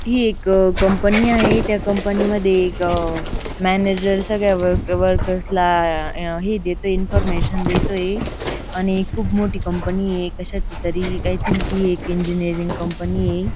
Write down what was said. ही एक कंपनी आहे त्या कंपनीमध्ये एक अह मॅनेजर सगळ्या वर्क वर्कर्स ला अह हे देतोय इन्फॉर्मेशन देतोय आणि मोठी कंपनी आहे कशाची तरी आय थिंक ही एक इंजिनिअरिंग कंपनी ये.